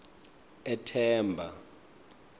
ethemba